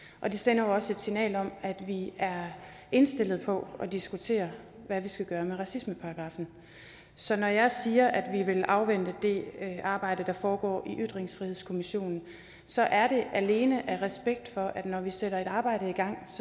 og det sender jo også et signal om at vi er indstillet på at diskutere hvad vi skal gøre med racismeparagraffen så når jeg siger at vi vil afvente det arbejde der foregår i ytringsfrihedskommissionen så er det alene af respekt for at når vi sætter et arbejde i gang